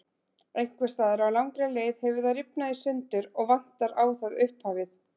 Einhvers staðar á langri leið hefur það rifnað í sundur og vantar á það upphafið.